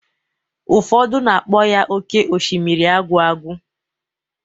Ụfọdụ na-akpọ ya oké osimiri agwụ agwụ.